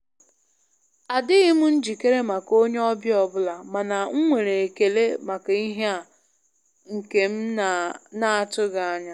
Adịghị m njikere maka onye ọbịa ọbụla, mana m nwere ekele maka ihe a nke m na--atụghị anya.